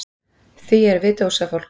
Því við erum dósafólk.